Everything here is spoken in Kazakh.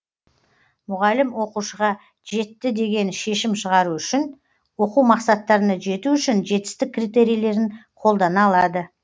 мұғалім оқушыға жетті деген шешім шығару үшін оқу мақсаттарына жету үшін жетістік критерийлерін қолдана алады